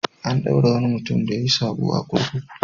An ɗaure wani mutum da yayi saɓo a kurkuku.